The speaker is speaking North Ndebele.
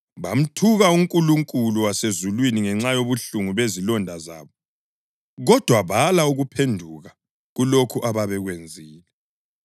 bamthuka uNkulunkulu wasezulwini ngenxa yobuhlungu bezilonda zabo, kodwa bala ukuphenduka kulokho ababekwenzile.